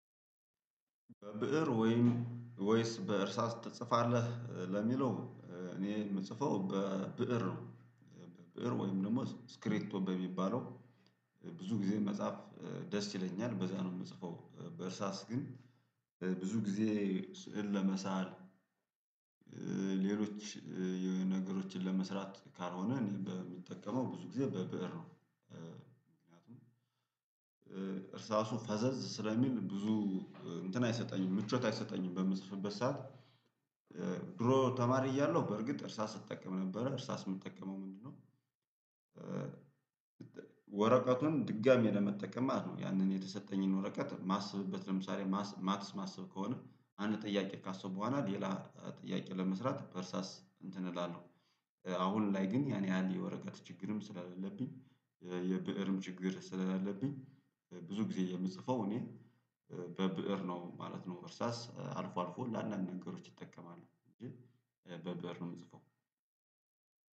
በብእር ወይስ በእርሳስ ትጽፋለህ? ለሚለው እኔ የምጽፈው በብእር ነው። ብእር ወይም ደግሞ እስክሪፕቶ በሚባለው ብዙ ጊዜ መጻፍ ደስ ይለኛል በዛ ነው የምጽፈው በእርሳስ ግን ብዙ ጊዜ ስዕል ለመሳል ሌሎች የሆነ ነገሮችን ለመስራት ካልሆነ እኔ በምጠቀመው ብዙ ጊዜ በብእር ነው። ምክንያቱም እርሳሱ ፈዘዝ ስለሚል ብዙ እንትን አይሰጠኝም ምቾት አይሰጠኝም በምጽፍበት ሰዓት። ድሮ ተማሪ እያለሁ በርግጥ እርሳስ እጠቀም ነበረ። እርሳስ የምጠቀመው ምንድነው ወረቀቱን ድጋሚ ለመጠቀም ማለት ነው ያንን የተሰጠኝን ወረቀት ማስብበት ለምሳሌ ማትስ ማስብ ከሆነ አንድ ጥያቄ ካሰብኩበት ሌላ ጥያቄ ለመስራት በእርሳስ እንትን እላለሁ አሁን ላይ ግን ያን ያህል የወረቀት ችግርም ስለሌለብኝ የብእርም ችግር ስለሌለብኝ ብዙ ግዜ የምጽፈው እኔ በብእር ነው ማለት ነው እርሳስ አልፎ አልፎ ለአንዳንድ ነገሮች እጠቀማለው ግን በብእር ነው የምጽፈው።